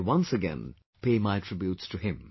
I once again pay my tributes to him